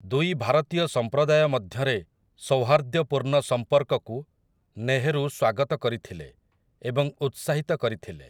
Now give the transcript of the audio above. ଦୁଇ ଭାରତୀୟ ସମ୍ପ୍ରଦାୟ ମଧ୍ୟରେ ସୌହାର୍ଦ୍ଦ୍ୟପୂର୍ଣ୍ଣ ସମ୍ପର୍କକୁ ନେହରୁ ସ୍ୱାଗତ କରିଥିଲେ ଏବଂ ଉତ୍ସାହିତ କରିଥିଲେ ।